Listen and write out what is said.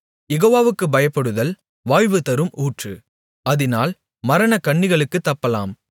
யெகோவாவுக்குப் பயப்படுதல் வாழ்வு தரும் ஊற்று அதினால் மரணக்கண்ணிகளுக்குத் தப்பலாம்